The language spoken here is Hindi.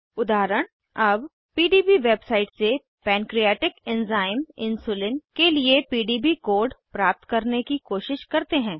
उदाहरण अब पीडीबी वेबसाइट से पैन्क्रीऐटिक एन्ज़ाइम इन्सुलिन के लिए पीडीबी कोड प्राप्त करने की कोशिश करते हैं